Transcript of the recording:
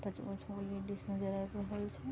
पांच-पांच गो लेडीज नजर आब रहल छै।